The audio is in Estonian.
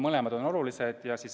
Mõlemad on olulised.